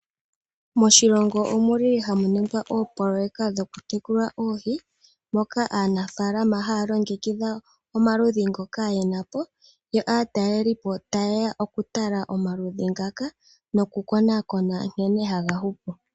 Moshilongo ohamu ningwa oopoloyeka dhokutekula oohi, moka aanafaalama haya longekidha omaludhi ngoka ye na po, yo aatalelipo taye ya okutala omaludhi ngaka nokukonakona nkene haga hupu.